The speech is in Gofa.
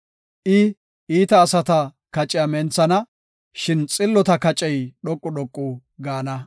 I, iita asata kaciya menthana; shin xillota kacey dhoqu dhoqu gaana.